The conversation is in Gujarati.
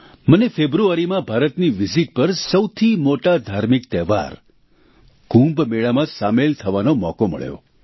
મને ફેબ્રુઆરીમાં ભારતની વિઝીટ પર સૌથી મોટા ધાર્મિક તહેવાર કુંભ મેળામાં સામેલ થવાનો મોકો મળ્યો